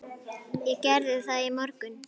Ég gerði það í morgun.